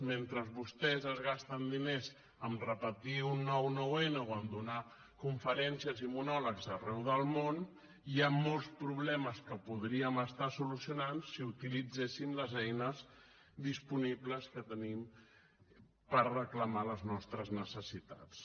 mentre vostès es gasten diners en repetir un nou nou n o en fer conferències i monòlegs arreu del món hi han molts problemes que podríem estar solucionant si utilitzéssim les eines disponibles que tenim per reclamar les nostres necessitats